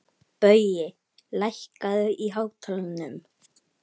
Baui, lækkaðu í hátalaranum.